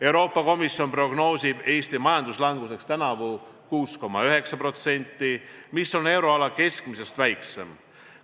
Euroopa Komisjon prognoosib Eesti majanduslanguseks tänavu 6,9%, mis on euroala keskmisest väiksem.